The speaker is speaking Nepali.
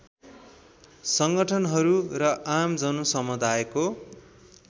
सङ्गठनहरू र आम जनसमुदायको